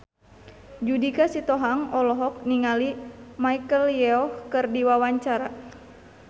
Judika Sitohang olohok ningali Michelle Yeoh keur diwawancara